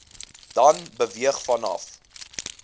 dan beweeg vanaf